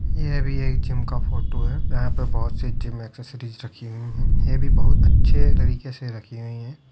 यह भी एक जिम का फोटो है। यहां पे बहोत सी जिम एसेसीरिस रखी हुई हैं। ये भी बहोत अच्छे तरीके से रखी हुई हैं।